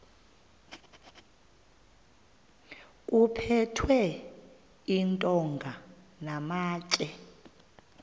kuphethwe iintonga namatye